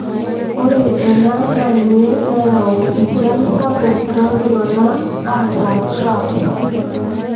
ore ena na ninye nayau injian sapuk toltungana oata TRAPS.